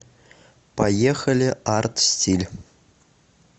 поехали арт стиль